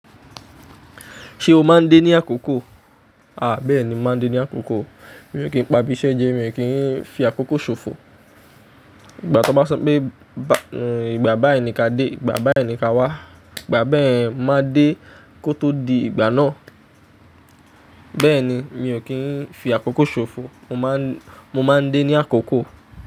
Ṣẹ̀ o máa ń dé ní àkókò? A bẹ́ẹ̀ni, mo máa ń dé ní àkókò. Mi ò kí ń pa bí iṣẹ́ jẹ́, mi ò kí ń fi àkókò ṣòfò. Ìgbà tí wọ́n bá sọ pé ìgbà báyi nìka dé, ìgbà báyi nìka wá, ìgbà bá ẹ̀, máa dé kó tó di ìgbà náà. Bẹ́ẹ̀ni, mi ò kí ń fi àkókò ṣòfò. Mo máa ń, mo máa ń dé ní àkókò.